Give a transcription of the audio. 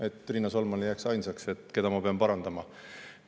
Et Riina Solman ei jääks ainsaks, keda ma pean parandama.